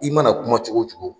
I mana kuma cogo o cogo